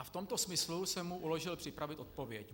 A v tomto smyslu jsem mu uložil připravit odpověď.